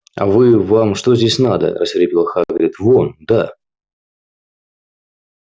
а вы вам что здесь надо рассвирепел хагрид вон да